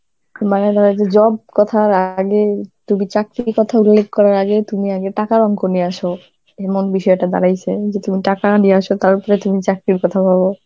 মানে ধরো যে job কথার আগে, তুমি চাকরির কথা উল্লেখ করার আগে, তুমি আগে টাকার অংক নিয়ে আসো, এমন বিষয়টা দাড়াইছে যে তুমি টাকা নিয়ে আসো তার উপরে তুমি চাকরির কথা ভাবো.